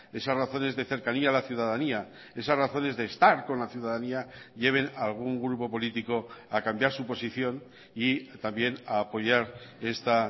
esas razones de cercanía a la ciudadanía esas razones de estar con la ciudadanía lleven a algún grupo político a cambiar su posición y también a apoyar esta